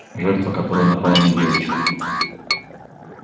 жертва которая напала на девочку